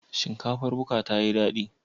Shinkafar buka tayi dadi?